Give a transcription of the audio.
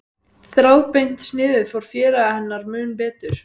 Þráðbeint sniðið fór félaga hennar mun betur.